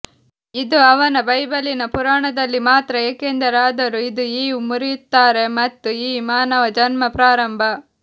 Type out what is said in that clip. ಇದು ಅವನ ಬೈಬಲಿನ ಪುರಾಣದಲ್ಲಿ ಮಾತ್ರ ಏಕೆಂದರೆ ಆದರೂ ಇದು ಈವ್ ಮುರಿಯುತ್ತಾರೆ ಮತ್ತು ಈ ಮಾನವ ಜನ್ಮ ಪ್ರಾರಂಭ